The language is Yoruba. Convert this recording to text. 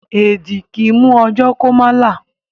Èẹ̀dì kì í mú ọ̣jọ́ kó má là.